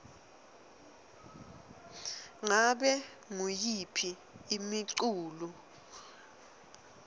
ngabe nguyiphi imiculu